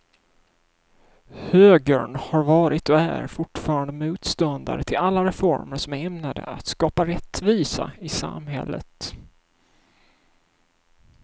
Högern har varit och är fortfarande motståndare till alla reformer som är ämnade att skapa rättvisa i samhället.